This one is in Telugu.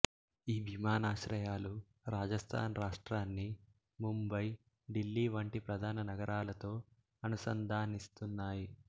ఈ విమానాశ్రయాలు రాజస్థాన్ రాష్ట్రాన్ని ముంబయి ఢిల్లీ వంటి ప్రధాన నగరాలతో అనుసంధానిస్తున్నాయి